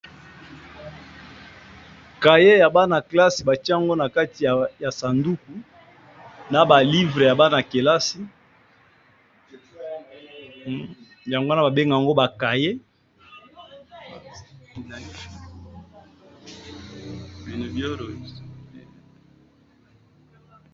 Cahiers ya banakelasi ba tié yango na kati ya sanduku na ba livre ya banankelasi, yango wana ba bengi yango ba cahiers .